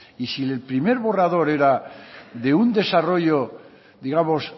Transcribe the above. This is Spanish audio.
y si el primer borrador era de un desarrollo digamos